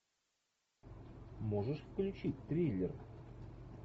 можешь включить триллер